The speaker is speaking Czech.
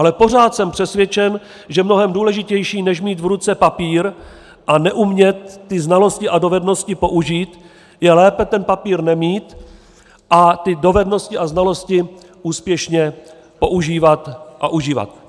Ale pořád jsem přesvědčen, že mnohem důležitější než mít v ruce papír a neumět ty znalosti a dovednosti použít je lépe ten papír nemít a ty dovednosti a znalosti úspěšně používat a užívat.